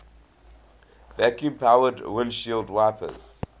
vacuum powered windshield wipers